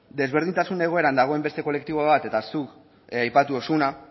desberdintasun egoeran dagoen beste kolektibo bat eta zuk aipatu duzuna